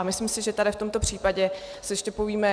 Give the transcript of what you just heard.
A myslím si, že tady v tomto případě si ještě povíme...